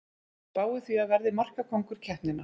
Spái því að verði markakóngur keppninnar!